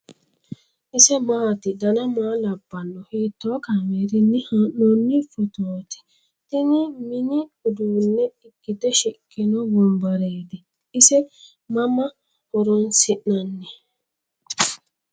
ise maati ? dana maa labbanno ? hiitoo kaameerinni haa'noonni footooti ? tini mini uduunne ikkite shiqino wombareeti ? ise mama horoonsi'nanni ?